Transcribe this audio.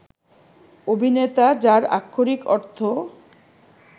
অভিনেতা, যার আক্ষরিক অর্থ